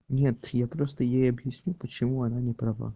нет я просто ей объясню почему она не права